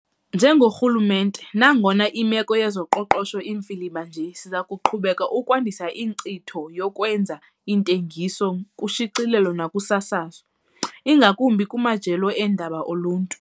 Njengorhulumente, nangona imeko yezoqoqosho imfiliba nje siza kuqhubeka ukwandisa inkcitho yokwenza iintengiso kushicilelo nakusasazo, ingakumbi kumajelo eendaba oluntu.